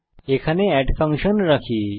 এখানে আমরা add function রাখি